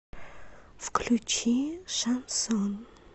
включи шансон